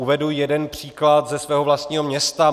Uvedu jeden příklad ze svého vlastního města.